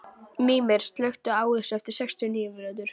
Mímir, slökktu á þessu eftir sextíu og níu mínútur.